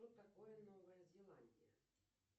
что такое новая зеландия